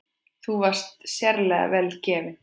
Þú varst sérlega vel gefin.